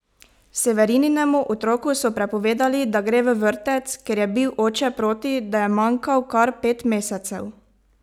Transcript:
Severininemu otroku so prepovedali, da gre v vrtec, ker je bil oče proti, da je manjkal kar pet mesecev!